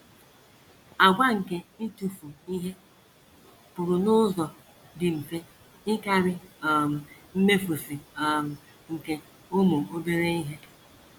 Àgwà nke ịtụfu ihe pụrụ n’ụzọ dị mfe ịkarị um mmefusị um nke ụmụ obere ihe.